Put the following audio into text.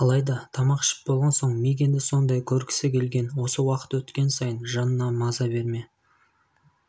алайда тамақ ішіп болған соң мигэнді сондай көргісі келген осы уақыт өткен сайын жанына маза берме